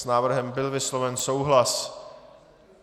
S návrhem byl vysloven souhlas.